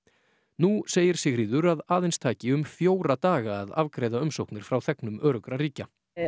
nú segir Sigríður að aðeins taki um fjóra daga að afgreiða umsóknir frá þegnum öruggra ríkja